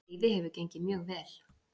Veiðin hefur gengið mjög vel